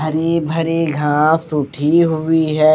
हरे भरे घांस उठी हुई है।